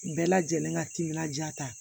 Bɛɛ lajɛlen ka timinandiya ta